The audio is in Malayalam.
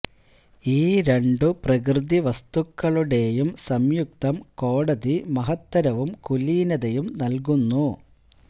ഈ രണ്ടു പ്രകൃതി വസ്തുക്കളുടെയും സംയുക്തം കോടതി മഹത്തരവും കുലീനതയും നൽകുന്നു